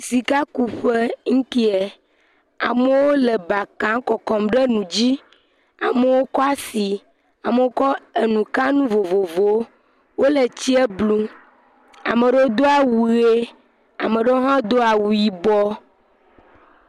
Sikakuƒe yi kee. Amewo le ba kam le kɔkɔm ɖe nu dzi. Amewo kɔ asi, amewo kɔ enukanu vovovowo. Wole tsia blum. Ame aɖewo do awu ʋi. Ame aɖewo hã do awu yibɔ.